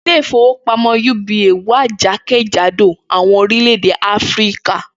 Ilé ìfowópamó̩ uba wà jákèjádò àwo̩n orílè̩-èdè Áfíríkà